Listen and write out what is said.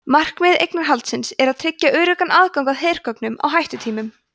markmið eignarhaldsins er að tryggja öruggan aðgang að hergögnum á hættutímum